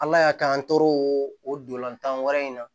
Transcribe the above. Ala y'a kɛ an tor'o ola tan wɛrɛ in na